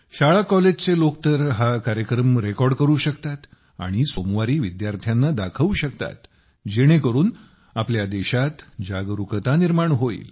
शाळा कॉलेजचे लोक तर हा कार्यक्रम रेकॉर्ड करू शकतात आणि सोमवारी विद्यार्थ्यांना दाखवू शकतात जेणेकरून आपल्या देशात जागरुकता निर्माण होईल